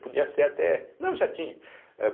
Podia ser até... Não, já tinha.